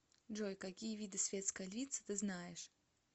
джой какие виды светская львица ты знаешь